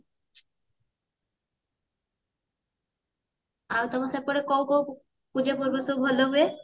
ଆଉ ତମର ସେପଟେ କୋଉ କୋଉ ପୂଜା ପର୍ବ ସବୁ ଭଲ ହୁଏ